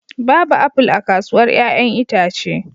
Babu apple a kasuwar 'ya'yan itace